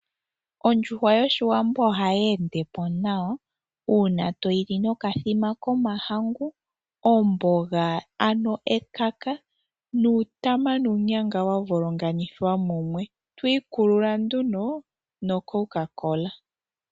Ondjuhwa yoshiwambo ohayeende po nawa uuna toyi li nokathima komahangu, ano ekaka nuutama nuunyanga wa volonganithwa mumwe. Twiikulula nduno noCoca Cola.